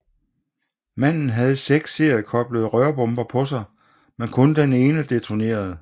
Manden havde seks seriekoblede rørbomber på sig men kun den ene detonerede